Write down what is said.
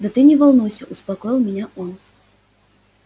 да ты не волнуйся успокоил меня он